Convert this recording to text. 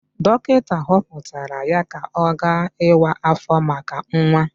Dọkịta họpụtara ya ka ọ gaa ịwa áfọ̀ maka nwa.